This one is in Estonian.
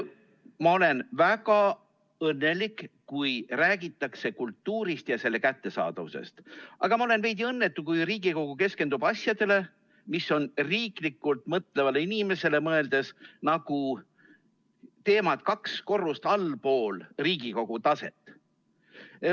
Ma olen väga õnnelik, kui räägitakse kultuurist ja selle kättesaadavusest, aga ma olen veidi õnnetu, kui Riigikogu keskendub asjadele, mis on riiklikult mõtlevale inimesele mõeldes nagu teemad kaks korrust allpool Riigikogu taset.